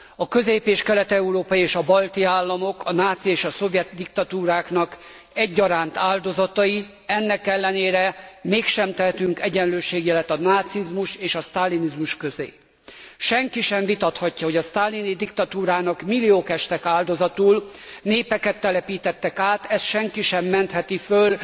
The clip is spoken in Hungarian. A közép és kelet európai és a balti államok a náci és a szovjet diktatúráknak egyaránt áldozatai, ennek ellenére mégsem tehetünk egyenlőségjelet a nácizmus és a sztálinizmus közé. Senki sem vitathatja, hogy a sztálini diktatúrának milliók estek áldozatul, népeket telepítettek át, ezt senki sem mentheti fel,